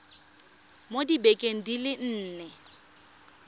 mo dibekeng di le nne